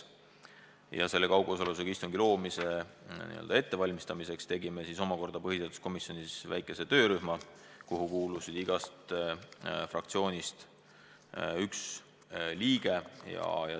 Ja selle võimaluse loomise ettevalmistamiseks tegime põhiseaduskomisjonis väikese töörühma, kuhu kuulus igast fraktsioonist üks liige.